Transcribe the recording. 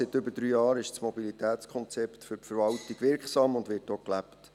Seit über drei Jahren ist das Mobilitätskonzept für die Verwaltung wirksam und wird auch gelebt.